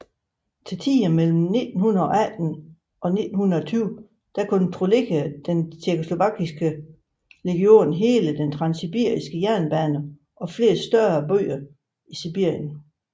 Til tider mellem 1918 og 1920 kontrollerede den tjekkoslovakiske legion hele den transsibiriske jernbane og flere større byer i Sibirien